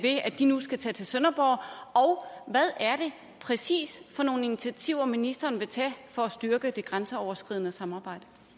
de nu skal tage til sønderborg og hvad er det præcis for nogle initiativer ministeren vil tage for at styrke det grænseoverskridende samarbejde